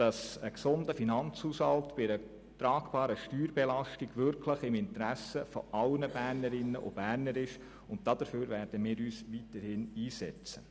Ein gesunder Finanzhaushalt bei einer tragbaren Steuerbelastung liegt wirklich im Interesse aller Bernerinnen und Berner, und dafür werden wir uns weiterhin einsetzen.